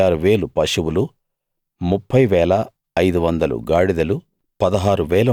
36000 పశువులు 30 500 గాడిదలు